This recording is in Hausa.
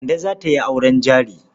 Kande za ta yi auren jari.